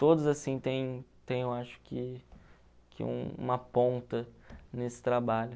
Todos, assim, têm têm eu acho que que, uma ponta nesse trabalho.